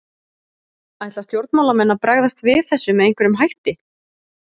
Ætla stjórnmálamenn að bregðast við þessu með einhverjum hætti?